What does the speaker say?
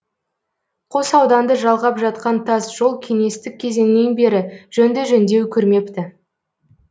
қос ауданды жалғап жатқан тасжол кеңестік кезеңнен бері жөнді жөндеу көрмепті